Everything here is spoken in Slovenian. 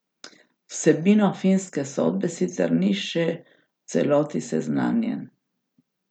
Z vsebino finske sodbe sicer ni še v celoti seznanjen.